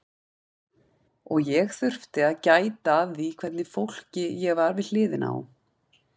Og ég þurfti að gæta að því hvernig fólki ég var við hliðina á.